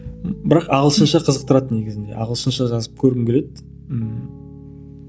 бірақ ағылшынша қазықтырады негізінде ағылшынша жазып көргім келеді ммм